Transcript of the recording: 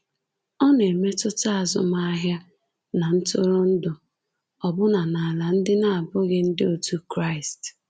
Ọ na-emetụta azụmahịa na ntụrụndụ, ọbụna n’ala ndị na-abụghị ndị otu Kraịst.